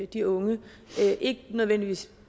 de unge ikke nødvendigvis